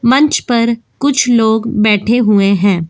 मंच पर कुछ लोग बैठे हुए हैं।